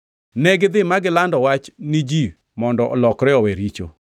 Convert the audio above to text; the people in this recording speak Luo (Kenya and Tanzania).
Negidhi ma gilando wach ji mondo olokre owe richo.